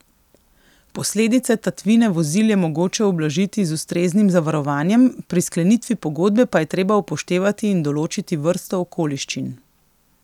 Posledice tatvine vozil je mogoče ublažiti z ustreznim zavarovanjem, pri sklenitvi pogodbe pa je treba upoštevati in določiti vrsto okoliščin.